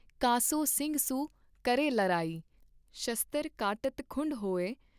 ਕਾ ਸੋਂ ਸਿੰਘ ਸੁ ਕਰੈ ਲਰਾਈ ॥ ਸ਼ਸਤਰ ਕਾਟਤ ਖੁੰਢ ਹੋਏ।